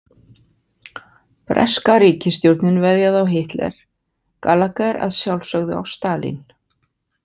Breska ríkisstjórnin veðjaði á Hitler, Gallagher að sjálfsögðu á Stalín.